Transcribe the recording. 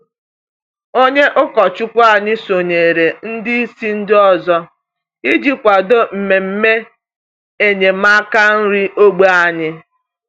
Onye ụkọchukwu anyị sonyeere ndị isi ndị ọzọ iji kwado mmemme enyemaka nri n’ógbè anyị.